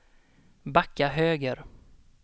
backa höger